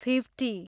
fifty